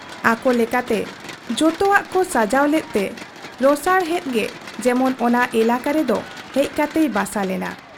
ᱟᱠᱚ ᱞᱮᱠᱟᱛᱮ ᱡᱚᱛᱚᱣᱟᱜ ᱠᱚ ᱥᱟᱡᱟᱣ ᱞᱮᱫ ᱛᱮ ᱨᱚᱥᱟᱬᱦᱮᱫ ᱜᱮ ᱡᱮᱢᱚᱱ ᱚᱱᱟ ᱮᱞᱟᱠᱟ ᱨᱮᱫᱚ ᱦᱮᱡ ᱠᱟᱛᱮᱭ ᱵᱟᱥᱟ ᱞᱮᱱᱟ ᱾